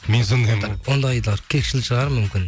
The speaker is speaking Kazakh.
мен сондаймын ғой ондайлар кекшіл шығар мүмкін